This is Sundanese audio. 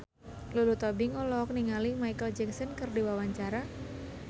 Lulu Tobing olohok ningali Micheal Jackson keur diwawancara